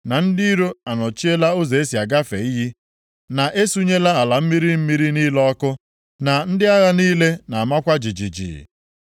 na ndị iro anọchiela ụzọ e si agafe iyi, na e sunyela ala mmiri mmiri niile ọkụ, na ndị agha niile na-amakwa jijiji.”